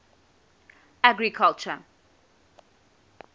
agriculture